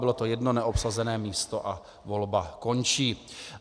Bylo to jedno neobsazené místo a volba končí.